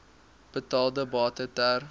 betaalde bate ter